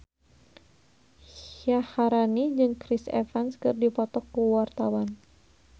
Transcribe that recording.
Syaharani jeung Chris Evans keur dipoto ku wartawan